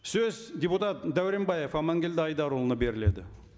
сөз депутат дәуренбаев аманкелді айдарұлына беріледі